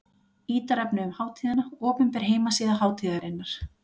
Ítarefni um hátíðina: Opinber heimasíða hátíðarinnar.